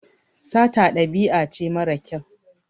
Sata ɗabi'a ce mara kyau.